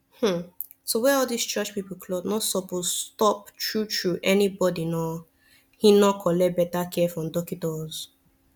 hmn to wear all these church pipu cloth nor suppos stop tru tru any bodi nor hin nor collect beta care from dockitos